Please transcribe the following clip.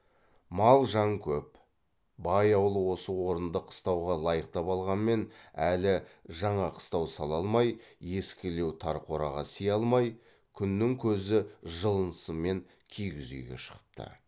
мал жан көп бай ауылы осы орынды қыстауға лайықтап алғанмен әлі жаңа қыстау сала алмай ескілеу тар қораға сыя алмай күннің көзі жылынысымен киіз үйге шығыпты